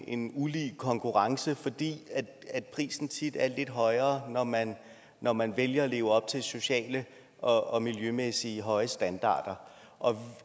en ulige konkurrence fordi prisen tit er lidt højere når man når man vælger at leve op til socialt og miljømæssigt høje standarder og